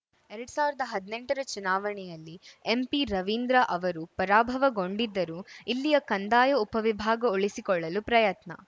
ಎರಡ್ ಸಾವಿರದ ಹದ್ನೆಂಟರ ಚುನಾವಣೆಯಲ್ಲಿ ಎಂಪಿರವೀಂದ್ರ ಅವರು ಪರಾಭವಗೊಂಡಿದ್ದರೂ ಇಲ್ಲಿಯ ಕಂದಾಯ ಉಪವಿಭಾಗ ಉಳಿಸಿಕೊಳ್ಳಲು ಪ್ರಯತ್ನ